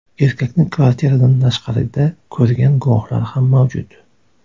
Erkakni kvartiradan tashqarida ko‘rgan guvohlar ham mavjud.